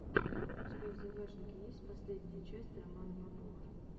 у тебя в загашнике есть последняя часть романа попова